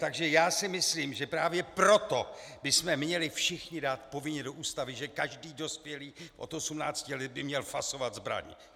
Takže já si myslím, že právě proto bychom měli všichni dát povinně do Ústavy, že každý dospělý od 18 let by měl fasovat zbraň.